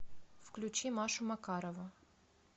включи машу макарову